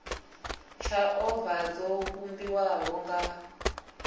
tsha ovala dzo vhumbiwaho nga